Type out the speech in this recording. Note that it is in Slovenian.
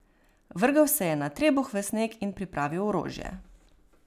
Vrgel se je na trebuh v sneg in pripravil orožje.